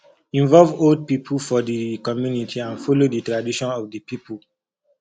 involve old pipo for di community and follow di tradition of di pipo